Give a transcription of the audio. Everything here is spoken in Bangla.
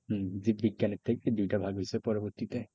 হম যে বিজ্ঞানেরটাই দুইটা ভাগ হয়েছে পরবর্তীতে।